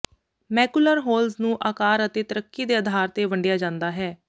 macular holes ਨੂੰ ਆਕਾਰ ਅਤੇ ਤਰੱਕੀ ਦੇ ਅਧਾਰ ਤੇ ਵੰਡਿਆ ਜਾਂਦਾ ਹੈ